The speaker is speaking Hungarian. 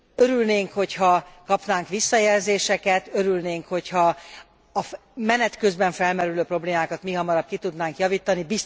Örülnénk, hogy ha kapnánk visszajelzéseket, örülnénk, hogy ha a menet közben felmerülő problémákat mihamarabb ki tudnánk javítani.